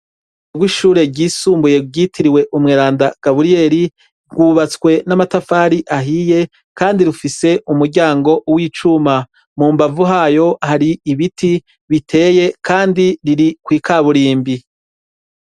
Uruhome rw'ishure ryisumbuye ryitiriwe umweranda Gaburiyeri rwubatswe n'amatafari ahiye kandi rufise umuryango w'icuma. Mu mbavu hayo hari ibiti biteye kandi biri kwi kaburimbi.